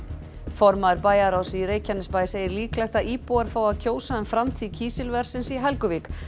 formaður bæjarráðs í Reykjanesbæ segir líklegt að íbúar fái að kjósa um framtíð kísilversins í Helguvík